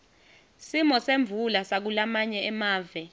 simo semvula sakulamanye amave